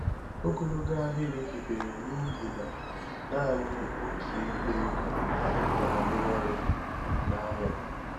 Ogologo ahịrị hibere n'ihi na naanị otu igwe ego na-arụ ọrụ n'ụlọ ahịa.